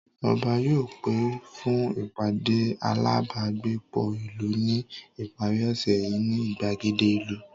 Ọba yóò pè fún ìpàdé alábágbépọ̀ ìlú ní ìparí ọ̀sẹ̀ yìí ní ìgbàgede ìlú